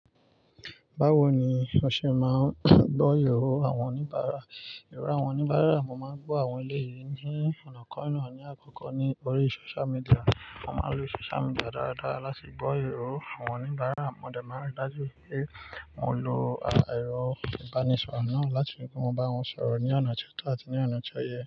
Báwo ni o ṣe máa ń gbọ́ irò àwọn oníbàárà? Irọ àwọn oníbàárà mo máa ń gbọ́ àwọn ilé yìí ní ọ̀nà kọ̀ọ̀kan ní àkọ́kọ́ ní orí social media. Mo máa ń lo social media dáadáa láti gbọ́ irò àwọn oníbàárà. Mo dẹ̀ máa ń rí dájú pé mo lo ẹrọ ìbánisọ̀rọ̀ náà láti rí pé mo bá wọn sọ̀rọ̀ ní ọ̀nà tó tọ́ àti ní ọ̀nà tó yẹ.